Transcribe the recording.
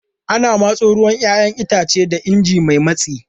Ana tsamo ruwan 'ya'yan itace da ingin mai matsi.